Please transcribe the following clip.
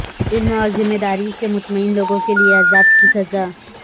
علم اور ذمہ داری سے مطمئن لوگوں کے لئے عذاب کی سزا